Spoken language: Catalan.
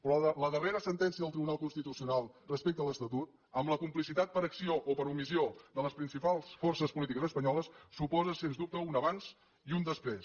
però la darrera sentència del tribunal constitucional respecte a l’estatut amb la complicitat per acció o per omissió de les principals forces polítiques espanyoles suposa sens dubte un abans i un després